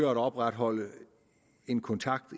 at opretholde en kontakt